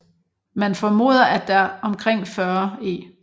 Man formoder at der omkring 40 e